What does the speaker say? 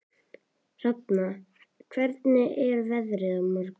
Hrafna, hvernig er veðrið á morgun?